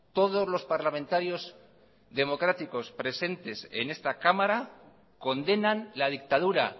todos los parlamentarios democráticos presentes en esta cámara condenan la dictadura